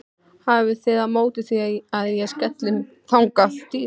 Hafið þið á móti því að ég skelli mér þangað?